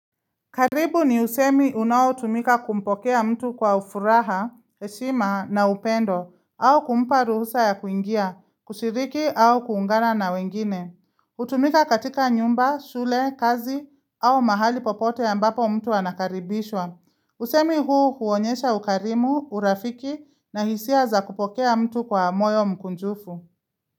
Karibu ni usemi unaotumika kumpokea mtu kwa ufuraha, heshima na upendo, au kumpa ruhusa ya kuingia, kushiriki au kuungana na wengine. Hutumika katika nyumba, shule, kazi au mahali popote ambapo mtu wanakaribishwa. Usemi huu huonyesha ukarimu, urafiki na hisia za kupokea mtu kwa moyo mkunjufu.